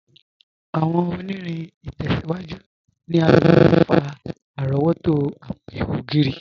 Awọn ọ̀nìrìn itẹ̀síwájú ni a ló láti fà arọ̀wọ̀tó awọn ìhò ogiri.